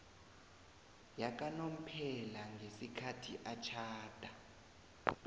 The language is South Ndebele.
yakanomphela ngesikhathi atjhada